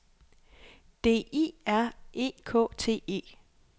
D I R E K T E